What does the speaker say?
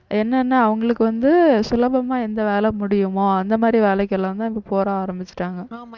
என்னன்னா அவங்களுக்கு வந்து சுலபமா எந்த வேலை முடியுமோ அந்த மாதிரி வேலைக்கெல்லாம் தான் இங்க போக ஆரம்பிச்சுட்டாங்க